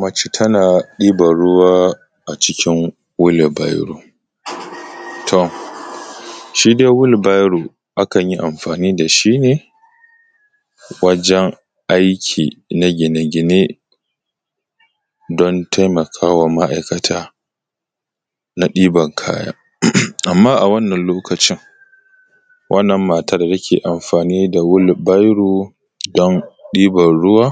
Mace tana ɗiban ruwa a cikin wili baiɾo tom, shi dai wili baiɾo akan yi amfani da shi ne waɾen aiƙi na gine-gine don taimakawa ma’aikata na ɗiban kaya, amma a wannan lokaci wannan matan take amfani da shi ne wili baiɾo don ɗiban ruwa,